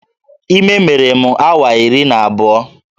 Ime mere m awa iri na abụọ